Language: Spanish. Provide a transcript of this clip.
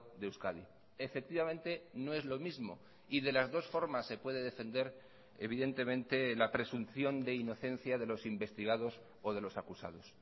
de euskadi efectivamente no es lo mismo y de las dos formas se puede defender evidentemente la presunción de inocencia de los investigados o de los acusados